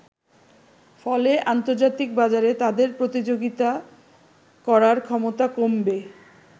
ফলে আন্তর্জাতিক বাজারে তাদের প্রতিযোগিতা করার ক্ষমতা কমবে।